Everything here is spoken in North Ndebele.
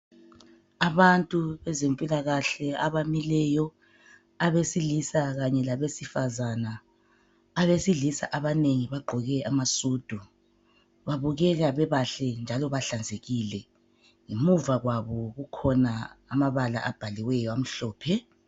Abantu bezempilakahle abamileyo abesilisa Kanye labesifazana , abesilisa abanengi bagqoke amasudu babukeka bebahle njalo bahlanzekile, muva kwabo kukhona amabala abhaliweyo amhlophe.